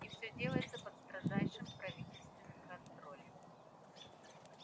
и всё делается под строжайшим правительственным контролем